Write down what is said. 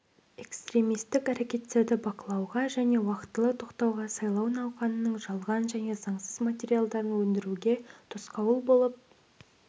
экстремистік әрекеттерді бақылауға және уақытылы тоқтатуға сайлау науқанының жалған және заңсыз материалдарын өндіруге тосқауыл болып